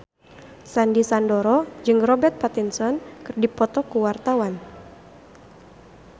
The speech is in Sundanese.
Sandy Sandoro jeung Robert Pattinson keur dipoto ku wartawan